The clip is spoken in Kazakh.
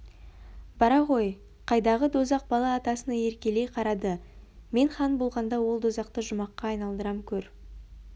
бара ғой қайдағы дозақ бала атасына еркелей қарады мен хан болғанда ол дозақты жұмаққа айналдырам көр